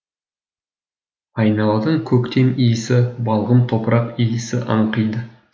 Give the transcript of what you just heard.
айналадан көктем иісі балғын топырақ иісі аңқиды